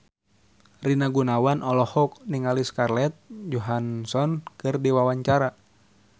Rina Gunawan olohok ningali Scarlett Johansson keur diwawancara